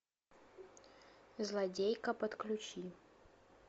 злодейка подключи